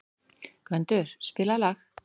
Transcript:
Gvendur, spilaðu lag.